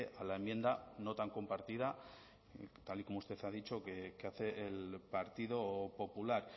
a la enmienda no tan compartida tal y como usted ha dicho que hace el partido popular